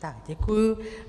Tak děkuji.